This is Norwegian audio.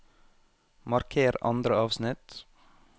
Marker andre avsnitt